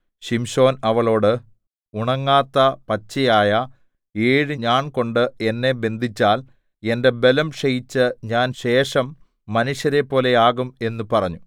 ശിംശോൻ അവളോട് ഉണങ്ങാത്ത പച്ചയായ ഏഴ് ഞാൺ കൊണ്ട് എന്നെ ബന്ധിച്ചാൽ എന്റെ ബലം ക്ഷയിച്ച് ഞാൻ ശേഷം മനുഷ്യരെപ്പോലെ ആകും എന്ന് പറഞ്ഞു